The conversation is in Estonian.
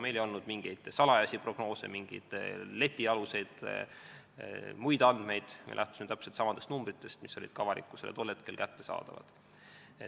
Meil ei olnud mingeid salajasi prognoose, mingeid letialuseid muid andmeid, me lähtusime täpselt samadest numbritest, mis olid ka avalikkusele tol hetkel kättesaadavad.